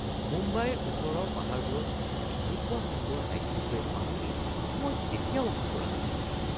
মুম্বাইৰ ওচৰৰ পাহাৰবোৰত এনেকুৱা সুন্দৰ হাইকিং ট্ৰেইল পাম বুলি মই কেতিয়াও আশা কৰা নাছিলোঁ।